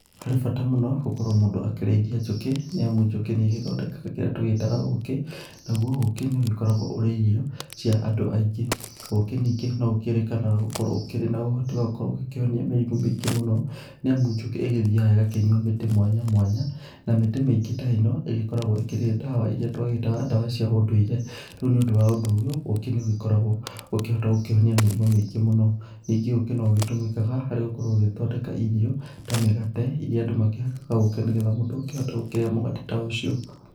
Harĩ bata mũno gũkorwo mũndũ agĩkĩrĩithia njũkĩ nĩamu njũkĩ nĩ igĩthondekaga kĩrĩa tũgĩtaga ũkĩ nagũo ũkĩ nĩ ũgĩkoragwo ũrĩ irio cia andũ aingĩ. Ũkĩ ningĩ no ũkĩrĩkanaga gũkorwo ũkĩrĩ na ũhoti wa gũkorwo ũgĩkĩhonia mĩrimũ mĩingĩ mũno nĩamũ njũkĩ ĩgĩthiaga ĩgakĩnyua mĩtĩ mwanya mwanya na mĩtĩ mĩingĩ ta ĩno ĩgĩkoragwo ĩkĩrĩ ndawa irĩa twagĩtaga ndawa cia ũndũire. Rĩu nĩ ũndũ wa ũndũ ũyũ ũkĩ nĩ ũkoragwo ũkĩhota gukĩhonia mĩrimũ mĩingĩ mũno . Ningĩ ũkĩ no ũgĩtũmĩkaga harĩ gũkorwo ũgĩthondeka irio ta mĩgate irĩa andũ makĩhakaga ũkĩ nĩgetha mũndũ akĩhote gũkĩrĩa mũgate ta ũcio.